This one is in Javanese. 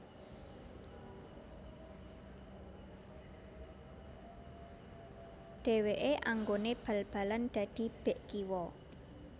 Dheweke anggone bal balan dadi bek kiwa